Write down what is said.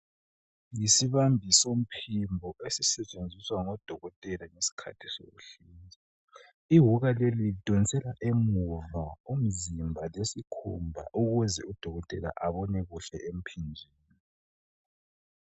Yisibambiso somphimbo esisetshenziswa ngudokotela, ngesikhathi sokuhlinza. lwuka leli, lidonsela emuva umzimba lesikhumba ukuze udokotela abone kuhle emphinjeni.